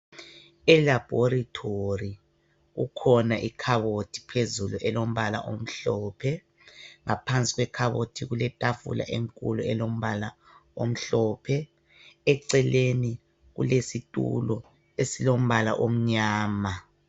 Elaboratory kukhona ikhabothi phezulu elombala omhlophe ngaphansi kwekhabothi kuletafula enkulu elombala omhlophe eceleni kulesitulo esilombala omnyama